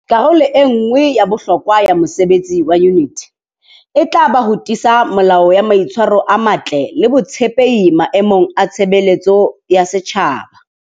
Karolo e nngwe ya bohlokwa ya mosebetsi wa yuniti. E tla ba ho tiisa melao ya mai tshwaro a matle le botshepehi maemong a tshebeletso ya setjhaba.